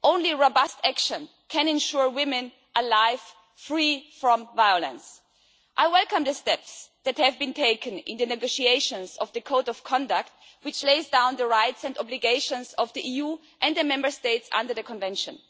Only robust action can ensure women a life free from violence. I welcome the steps that have been taken in the negotiations of the Code of Conduct, which lays down the rights and obligations of the EU and the Member States under the Convention.